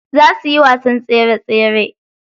Za suyi wasan tsere tsere.